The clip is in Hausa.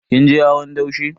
Kin je hawan daushe?